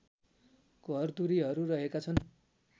घरधुरीहरु रहेका छन्